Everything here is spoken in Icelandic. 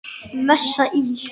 Messa íl.